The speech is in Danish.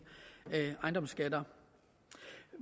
ejendomsskatter